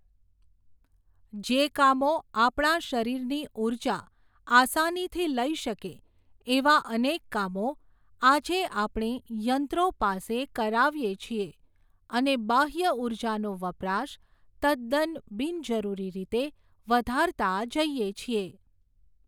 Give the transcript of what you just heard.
જે કામો આપણા શરીરની ઉર્જા, આસાનીથી લઈ શકે, એવા અનેક કામો, આજે આપણે, યંત્રો પાસે કરાવીએ છીએ, અને બાહ્ય ઉર્જાનો વપરાશ તદ્દન બિનજરુરી રીતે, વધારતા જઈએ છીએ.